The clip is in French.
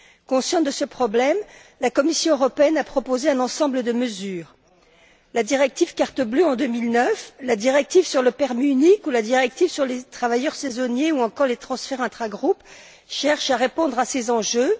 Consciente de ce problème, la Commission européenne a proposé un ensemble de mesures la directive carte bleue en 2009, la directive sur le permis unique, la directive sur les travailleurs saisonniers ou encore les transferts intragroupes cherchent à répondre à ces enjeux.